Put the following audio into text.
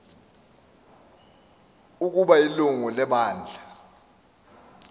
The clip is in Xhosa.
ukaba ilungu lebandla